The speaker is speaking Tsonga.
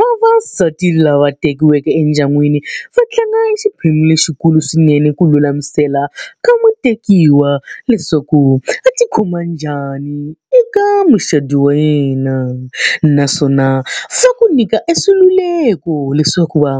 vavasati lava tekiweke endyangwini va tlanga exiphemu lexikulu swinene ku lulamisela ka mu tekiwa leswaku a ti khoma njhani eka mucato wa yena, naswona swa ku nyika leswaku va